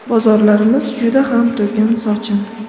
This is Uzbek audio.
Bozorlarimiz juda ham to‘kin-sochin.